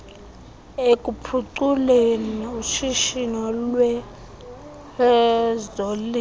ekuphuculeni ushishino lwezolimo